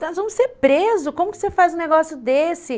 Nós vamos ser presos, como que você faz um negócio desse?